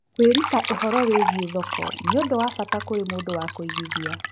Kwĩruta ũhoro wĩgiĩ thoko nĩ ũndũ wa bata kũrĩ mũndũ wa kũigithia.